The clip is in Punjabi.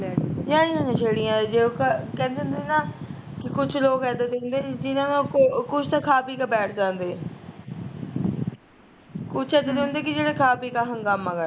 ਯਾਰ ਇਨਾ ਨਸ਼ੇੜੀਆ ਨੂੰ ਉਹ ਕਹਿੰਦੇ ਹੁੰਦੇ ਨਾ, ਕੁਸ਼ ਲੋਕ ਏਦਾਂ ਦੇ ਹੁੰਦੇ ਜਿਨਾ ਕੋਲ ਕੁਸ਼ ਤਾਂ ਖਾ ਪੀ ਕੇ ਬੈਠ ਜਾਂਦੇ ਕੁਸ਼ ਏਦਾਂ ਦੇ ਹੁੰਦੇ ਜਿਹੜੇ ਖਾ ਪੀ ਕੇ ਹੰਗਾਮਾ ਕਰਦੇ